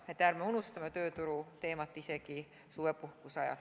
Nii et ärme unustame tööturuteemat isegi suvepuhkuse ajal.